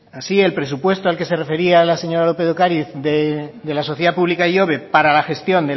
así el presupuesto al que se refería la señora lópez de ocariz de la sociedad pública ihobe para la gestión